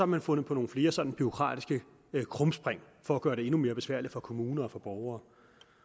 man fundet på nogle flere sådan bureaukratiske krumspring for at gøre det endnu mere besværligt for kommuner og for borgere